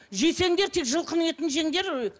жесеңдер де жылқының етін жеңдер